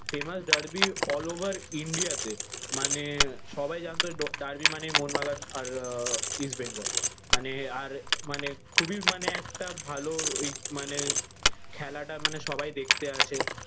famous derby all over india তে। মানে সবাই জানতো ডার্বি মানেই মোহনবাগান আর আহ ইস্টবেঙ্গল। মানে আর মানে খুবই মানে একটা ভালো ওই মানে খেলাটা মানে সবাই দেখতে আসে।